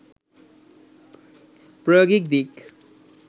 প্রায়োগিক দিক